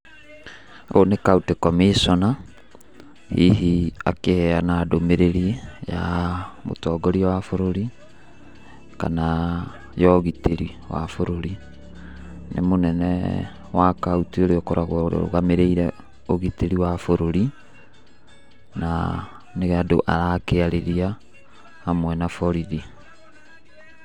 Ũyũ nĩ county commissioner, hihi akĩheana ndũmĩrĩri ya mũtongoria wa bũrũri, kana ya ũgitĩri wa bũrũri, nĩ mũnene wa kaũntĩ ũrĩa ũkoragwo ũrũgamĩrĩire ũgitĩri wa bũrũri, na nĩ andũ arakĩarĩria hamwe na borithi.